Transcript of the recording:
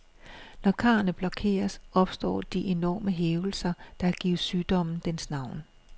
Når karrene blokeres, opstår de enorme hævelser, der har givet sygdommen dens navn.